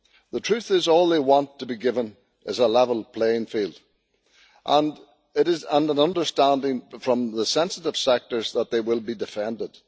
The truth is, all they want to be given is a level playing field and it is an understanding from the sensitive sectors that they will be defended.